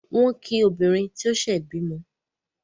Wọ́n kí obìnrin tó ṣẹ̀ bímọ.